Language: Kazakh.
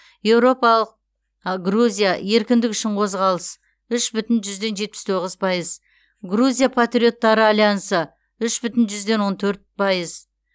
еуропалық грузия еркіндік үшін қозғалыс үш бүтін жүзден жетпіс тоғыз пайыз грузия партриоттары аляьянсы үш бүтін жүзден он төрт пайыз